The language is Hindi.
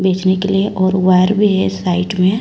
बिजली के लिए और वायर भी है साइड में--